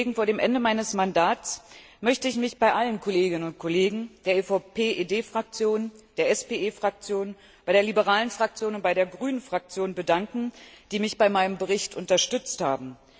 Vor dem Ende meines Mandats möchte ich mich bei allen Kolleginnen und Kollegen der PPE DE Fraktion, der PSE Fraktion, der Liberalen Fraktion und der Grünen Fraktion bedanken, die mich bei meinem Bericht unterstützt haben.